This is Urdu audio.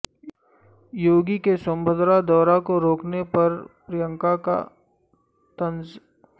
یوگی کے سونبھدرا دورہ کو روکنے پر پرینکا کا طنز